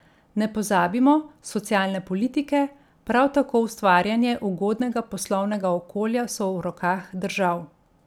Ne pozabimo, socialne politike, prav tako ustvarjanje ugodnega poslovnega okolja so v rokah držav.